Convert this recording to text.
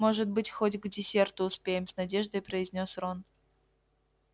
может быть хоть к десерту успеем с надеждой произнёс рон